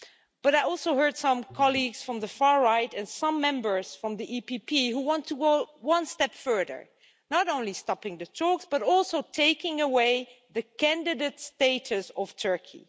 But I also heard some colleagues from the far right and some members from the EPP Group who want to go one step further not only stopping the talks, but also taking away the candidate status of Turkey.